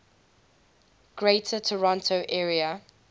greater toronto area